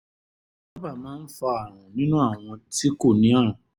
kò sábà máa ń fa ààrùn nínú àwọn tí kò ní ààrùn